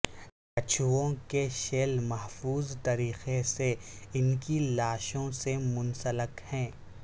کچھیوں کے شیل محفوظ طریقے سے ان کی لاشوں سے منسلک ہیں